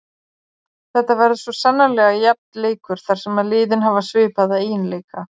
Þetta verður svo sannarlega jafn leikur þar sem að liðin hafa svipaða eiginleika.